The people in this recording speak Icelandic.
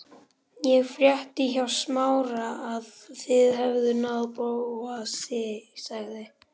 Ég frétti hjá Smára að þið hefðuð náð Bóasi sagði